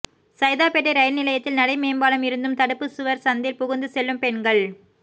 Saidapet rail நிலையத்தில் நடை மேம்பாலம் இருந்தும் தடுப்பு சுவர் சந்தில் புகுந்து செல்லும் பெண்கள்